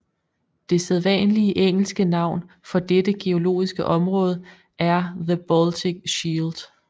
Det sædvanlige engelske navn for dette geologiske område er the Baltic Shield